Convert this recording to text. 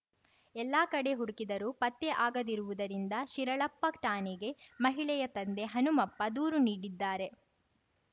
ಎಲ್ಲ ಕಡೆ ಹುಡುಕಿದರೂ ಪತ್ತೆ ಆಗದಿರುವುದರಿಂದ ಶಿರಾಳಪ್ಪ ಠಾಣೆಗೆ ಮಹಿಳೆಯ ತಂದೆ ಹನುಮಂತಪ್ಪ ದೂರು ನೀಡಿದ್ದಾರೆ